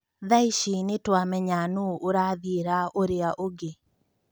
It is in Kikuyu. Thaici nĩtũamenya nũũ ũrathiĩra ũrĩa ũngĩ."